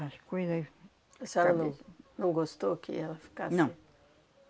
As coisas... A senhora não, não gostou que ela ficasse... Não.